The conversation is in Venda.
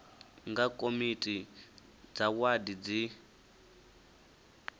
nga komiti dza wadi dzi